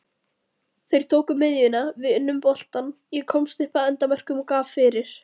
Þeir tóku miðjuna, við unnum boltann, ég komst upp að endamörkum og gaf fyrir.